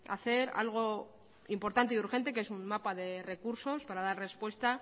hacer algo importante y urgente que es un mapa de recursos para dar respuesta